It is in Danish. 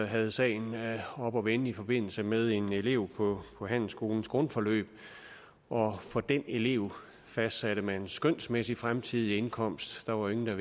havde sagen oppe at vende i forbindelse med en elev på handelsskolens grundforløb og for den elev fastsatte man en skønsmæssig fremtidig indkomst der var jo